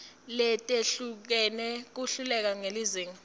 letehlukene kuhleleke ngelizinga